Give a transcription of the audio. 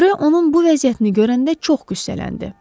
Rö onun bu vəziyyətini görəndə çox qüssələndi.